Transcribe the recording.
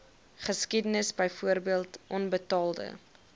geskiedenis byvoorbeeld onbetaalde